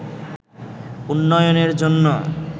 উন্নয়নের জন্য